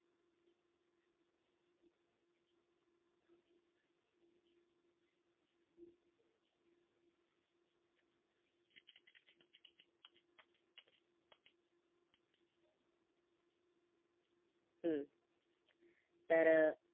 हम्म तर